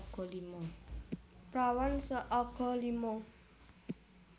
Prawan seaga lima